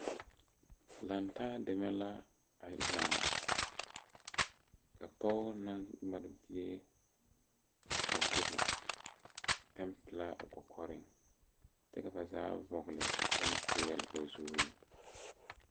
Lantaa deme la a laŋ ka pɔge naŋ mare bie guere pɛŋ pilaa o kɔkɔriŋ kyɛ ba zaa vɔgle pɛmprɛle ba zuriŋ.